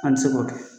An bɛ se k'o kɛ